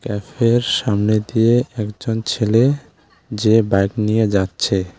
ক্যাফের সামনে দিয়ে একজন ছেলে যে বাইক নিয়ে যাচ্ছে।